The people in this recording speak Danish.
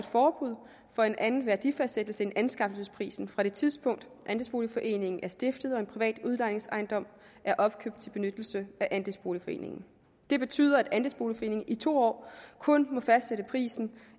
forbud for en anden værdifastsættelse end anskaffelsesprisen fra det tidspunkt andelsboligforeningen er stiftet og til en privat udlejningsejendom er opkøbt til benyttelse af andelsboligforeningen det betyder at andelsboligforeningen i to år kun må fastsætte prisen